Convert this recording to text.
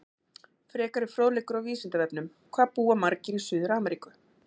Frekari fróðleikur á Vísindavefnum: Hvað búa margir í Suður-Ameríku?